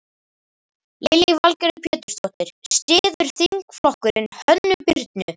Lillý Valgerður Pétursdóttir: Styður þingflokkurinn Hönnu Birnu?